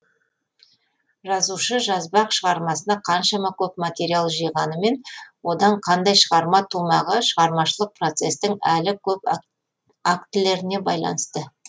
жазушы жазбақ шығармасына қаншама көп материал жиғанымен одан қандай шығарма тумағы шығармашылық процестің әлі көп актілеріне байланысты